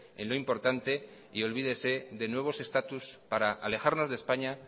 en lo importante y olvídese de nuevos estatus para alejarnos de españa